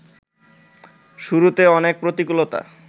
শুরুতে অনেক প্রতিকূলতা